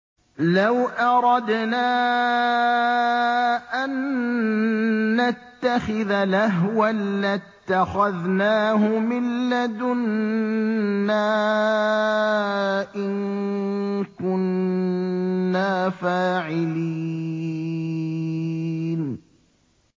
لَوْ أَرَدْنَا أَن نَّتَّخِذَ لَهْوًا لَّاتَّخَذْنَاهُ مِن لَّدُنَّا إِن كُنَّا فَاعِلِينَ